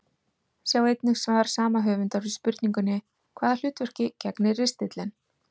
Sjá einnig svar sama höfundar við spurningunni Hvaða hlutverki gegnir ristillinn?